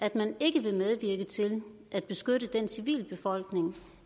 at man ikke vil medvirke til at beskytte den civilbefolkning